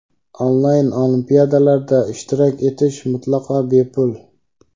Onlayn olimpiadalarda ishtirok etish mutlaqo bepul.